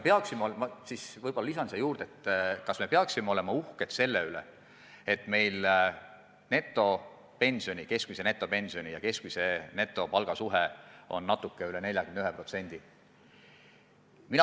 Ma võib-olla lisan siia juurde, kas me peaksime olema uhked selle üle, et meil keskmine netopension moodustab võrreldes keskmise netopalgaga natuke üle 41%?